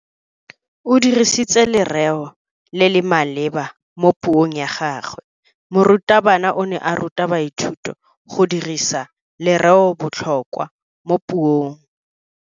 O dirisitse lereo le le maleba mo puong ya gagwe. Morutabana o ne a ruta baithuti go dirisa lereobotlhokwa mo puong.